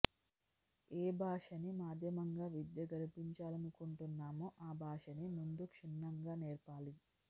ఏ భాషని మాధ్యమంగా విద్య గరిపించాలనుకుంటున్నామో ఆ భాషని ముందు క్షుణ్ణంగా నేర్పాలి